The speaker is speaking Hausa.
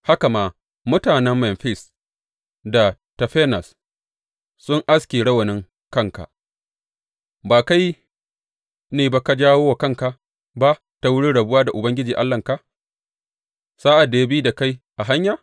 Haka ma, mutanen Memfis da Tafanes sun aske rawanin kanka Ba kai ne ba ka jawo wa kanka ba ta wurin rabuwa da Ubangiji Allahnka sa’ad da ya bi da kai a hanya?